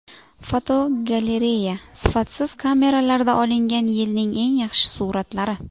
Fotogalereya: Sifatsiz kameralarda olingan yilning eng yaxshi suratlari.